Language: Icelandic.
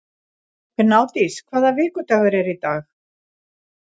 Gnádís, hvaða vikudagur er í dag?